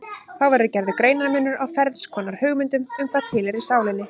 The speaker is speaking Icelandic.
Þá verður gerður greinarmunur á ferns konar hugmyndum um hvað tilheyrir sálinni.